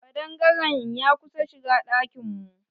Kaɗangare'n ya kusa shigan ɗakin mu.